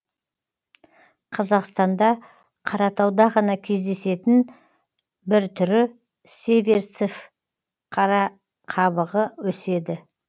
қазақстанда қаратауда ғана кездесетін бір түрі северцов қарақабығы өседі